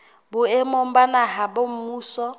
boemong ba naha ba mmuso